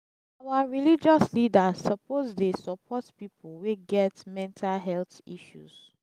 our religious leaders suppose dey support pipo wey get mental health issues.